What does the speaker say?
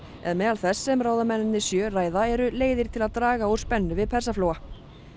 en meðal þess sem ráðamennirnir sjö ræða eru leiðir til að draga úr spennu við Persaflóa